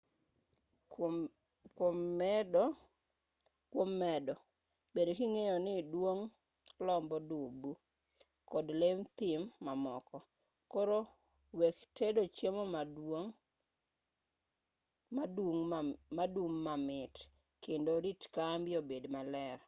kuom medo bed king'eyo ni dung' lombo dubu kod lee thim mamoko koro wek tedo chiemo madung' mamit kendo rit kambi obed maler